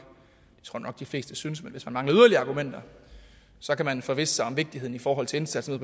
de fleste synes men hvis man mangler yderligere argumenter så kan man forvisse sig om vigtigheden i forhold til indsatsen